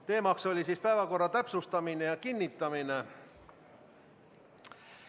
Teemaks oli päevakorra täpsustamine ja kinnitamine.